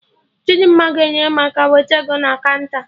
Chidimma ga-enyere m aka wete ego na kaụnta